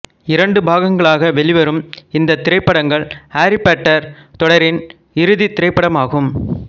இரண்டு பாகங்களாக வெளிவரும் இந்த திரைப்படங்கள் ஆரி பாட்டர் தொடரின் இறுதித் திரைப்படம் ஆகும்